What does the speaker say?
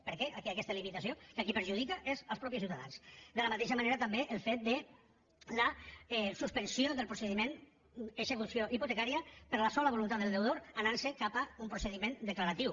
per què aquesta limitació que a qui perjudica és als mateixos ciutadans de la mateixa manera també el fet de la suspensió del procediment d’execució hipotecària per la sola voluntat del deutor anant se cap a un procediment declaratiu